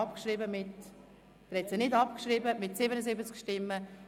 Sie haben die Motion nicht abgeschrieben mit 77 Nein- gegen 68 Ja-Stimmen.